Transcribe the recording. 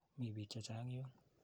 Mi piik che chang' yuun.